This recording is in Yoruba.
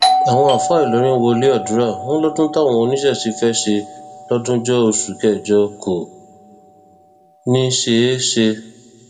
àwọn àáfàá ìlọrin wọlé àdúrà wọn lọdún táwọn oníṣẹṣe fẹẹ ṣe lójúńjọ oṣù kẹjọ kò ní í ṣeé ṣe